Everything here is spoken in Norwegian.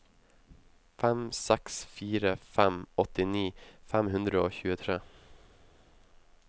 fem seks fire fem åttini fem hundre og tjuetre